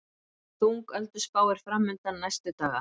Þung ölduspá er framundan næstu daga